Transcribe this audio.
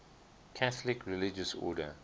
catholic religious order